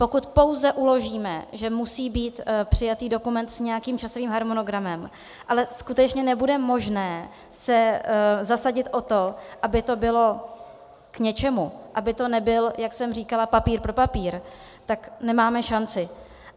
Pokud pouze uložíme, že musí být přijatý dokument s nějakým časovým harmonogramem, ale skutečně nebude možné se zasadit o to, aby to bylo k něčemu, aby to nebyl, jak jsem říkala, papír pro papír, tak nemáme šanci.